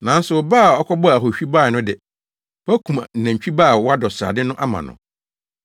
Nanso wo ba a ɔkɔbɔɔ ahohwi no bae yi de, woakum nantwi ba a wadɔ srade no ama no.’